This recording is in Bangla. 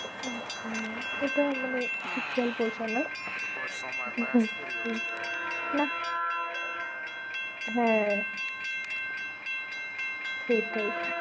আচ্ছা, ওটা মানে ঠিক খেয়াল পড়ছে না, সেই না হ্যাঁ, সেইটাই